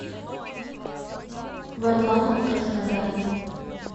варламов краснодар